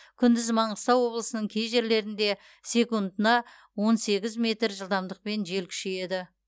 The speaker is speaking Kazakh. күндіз маңғыстау облысының кей жерлерінде секундына он сегіз метр жылдамдықпен жел күшейеді